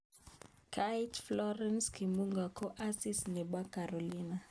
Kait Florence Kimbunga Kong asis nebo Carolina.